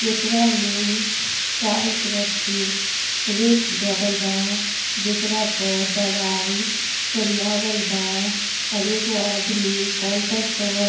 जेकरा में चारो तरफ से रैक लगल बा। जेकरा पर दवाई सरियावाल बा और एगो आदमी काउंटर पर --